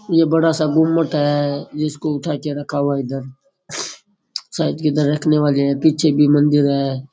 ये बड़ा सा गुमट है जिसको उठा के रखा हुआ है इधर शायद इधर रखने वाले हैं पीछे भी मंदिर है।